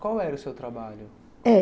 Qual era o seu trabalho?